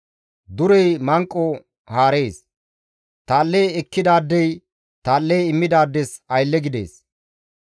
Durey manqo haarees; tal7e ekkidaadey tal7e immidaades aylle gides.